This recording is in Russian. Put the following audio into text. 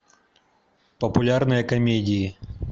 популярные комедии